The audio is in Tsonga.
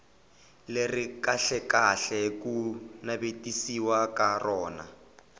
leri kahlekahle ku navetisiwaka rona